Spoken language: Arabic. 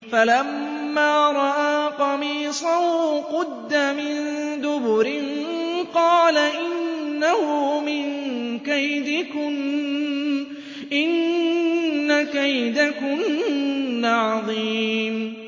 فَلَمَّا رَأَىٰ قَمِيصَهُ قُدَّ مِن دُبُرٍ قَالَ إِنَّهُ مِن كَيْدِكُنَّ ۖ إِنَّ كَيْدَكُنَّ عَظِيمٌ